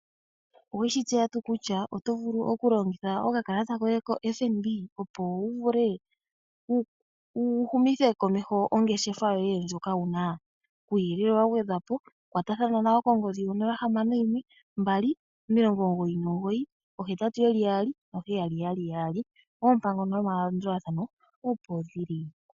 Oweshi tseya tuu kutya oto vulu okulongitha okakalata koye kombaanga yotango yopashigwana opo wuvule oku humitha komesho ongeshefa yoye ndjoka wuna? Kuuyelele wagwedhwapo kwatathana nayo kongodhi 0612998877, oompango nomalandulathano opo dhili.